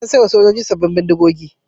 An sai wa sojoji sabbin bindigogi.